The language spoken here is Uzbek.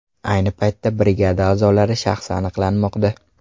Ayni paytda brigada a’zolari shaxsi aniqlanmoqda.